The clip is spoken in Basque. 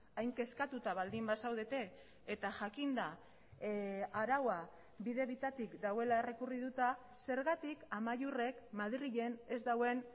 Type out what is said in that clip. hain kezkatuta baldin bazaudete eta jakinda araua bide bitatik dagoela errekurrituta zergatik amaiurrek madrilen ez duen